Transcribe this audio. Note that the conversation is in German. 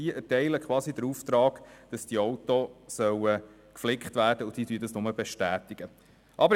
Dieses erteilt quasi den Auftrag, dass die Fahrzeuge geflickt werden, und die Werkstätten bestätigen die Reparatur.